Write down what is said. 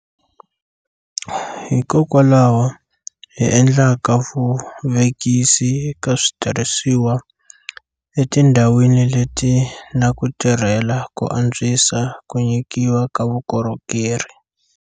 Hikokwalaho hi endlaka vuvekisi eka switirhisiwa etindhawini leti na ku tirhela ku antswisa ku nyikiwa ka vukorhokeri.